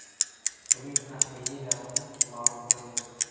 Uning taxminiy narxi ma’lum qilindi.